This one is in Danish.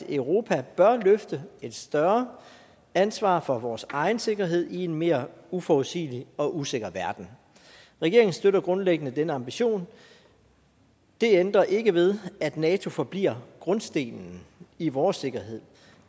at europa bør løfte et større ansvar for vores egen sikkerhed i en mere uforudsigelig og usikker verden regeringen støtter grundlæggende denne ambition det ændrer ikke ved at nato forbliver grundstenen i vores sikkerhed